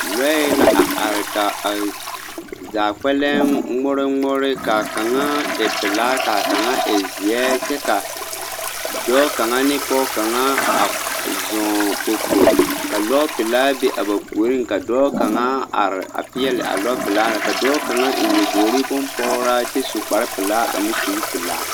Lɔɛ la a are ka a zaa kpɛlɛŋ ŋmore ŋmore kaa kaŋa e pelaa kaa kaŋa e zeɛ kyɛ ka dɔɔ kaŋa ne pɔg kaŋa a zɔŋ popo ka lɔɔpelaa be a ba puoriŋ ka dɔɔ kaŋa peɛle a lɔpelaa na ka dɔɔ kaŋa eŋ nyaboori bompɔgraa kyɛ su kparepelaa ane kuripelaa.